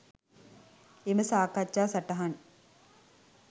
එම සාකච්ඡා සටහන්